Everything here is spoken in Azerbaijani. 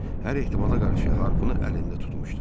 Hər ehtimala qarşı harpı əlində tutmuşdu.